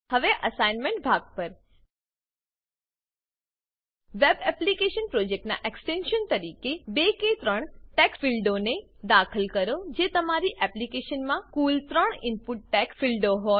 હવે એસાઈનમેંટ ભાગ પર વેબ એપ્લીકેશન પ્રોજેક્ટનાં એક્સટેન્શન એક્સટેન્શન તરીકે બે કે ત્રણ ટેક્સ્ટ ફીલ્ડોને દાખલ કરો જે કે તમારી એપ્લીકેશનમાં કુલ ત્રણ ઈનપુટ ટેક્સ્ટ ફીલ્ડો હોય